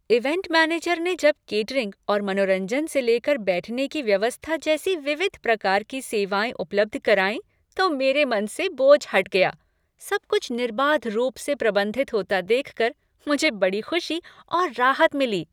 Event manager ने जब catering और मनोरंजन से लेकर बैठने की व्यवस्था जैसी विविध प्रकार की सेवाएँ उपलब्ध कराईं तो मेरे मन से बोझ हट गया, सब कुछ निर्बाध रूप से प्रबंधित होता देख कर मुझे बड़ी खुशी और राहत मिली।